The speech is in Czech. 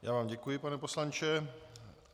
Já vám děkuji, pane poslanče.